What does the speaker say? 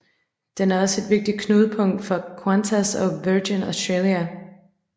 Den er også et vigtigt knudepunkt for Qantas og Virgin Australia